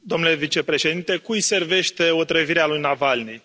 Domnule vicepreședinte, cui servește otrăvirea lui Navalnîi?